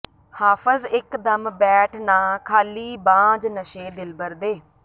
ਹਾਫ਼ਜ਼ ਇਕ ਦਮ ਬੈਠ ਨਾ ਖਾਲੀ ਬਾਝ ਨਸ਼ੇ ਦਿਲਬਰ ਦੇ